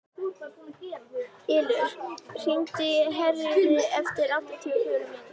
Ylur, hringdu í Herríði eftir áttatíu og fjórar mínútur.